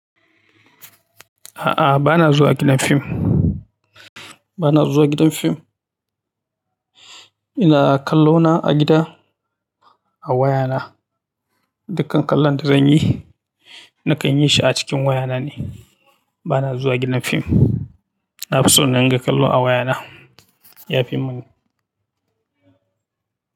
A'a, ba na zuwa gidan fim. Ba na zuwa gidan fim. Ina kallo na a gida, a waya na. Dukkan kallon da zan yi, nakan yi shi a cikin waya na ne. Ba na zuwa gidan fim. Na fi so naringa kallo a waya na, ya fi mun.